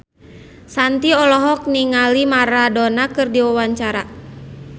Shanti olohok ningali Maradona keur diwawancara